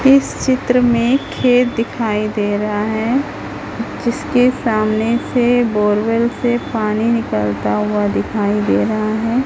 इस चित्र में खेत दिखाई दे रहा है जिसके सामने से बोरवेल से पानी निकलता हुआ दिखाई दे रहा है।